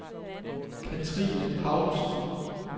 Katrine Paulsen